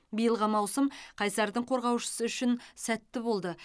биылғы маусым қайсардың қорғаушысы үшін сәтті болды